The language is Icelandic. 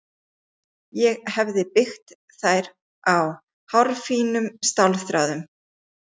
Ég hefi byggt þær á hárfínum stálþráðum.